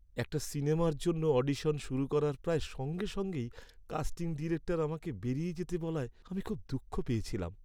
একটা সিনেমার জন্য অডিশন শুরু করার প্রায় সঙ্গে সঙ্গেই কাস্টিং ডিরেক্টর আমাকে বেরিয়ে যেতে বলায় আমি খুব দুঃখ পেয়েছিলাম।